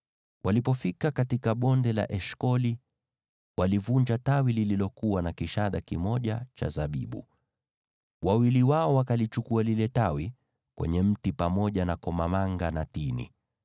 Walipofika katika Bonde la Eshkoli, walivunja tawi lililokuwa na kishada kimoja cha zabibu. Wawili wao wakalichukua lile tawi kwenye mti, pamoja na komamanga na tini.